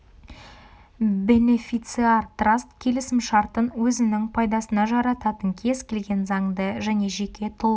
бенефициар траст келісім-шартын өзінің пайдасына жарататын кез келген заңды және жеке тұлға